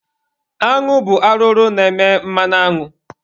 Añụ bụ arụrụ na-eme mmanụ añụ.